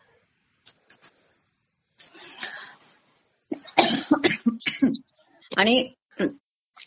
Caughing आणि